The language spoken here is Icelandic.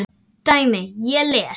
dæmi: Ég les.